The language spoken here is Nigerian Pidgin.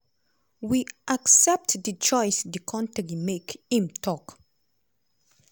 we accept di choice di kontri make" im tok.